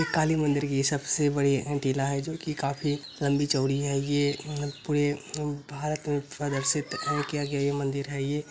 ये काली मंदिर की ये सबसे बड़ी टीला है जो की काफ़ी लंबी-चौड़ी है। ये पुरे भारत में प्रदर्शित मंदिर है ये।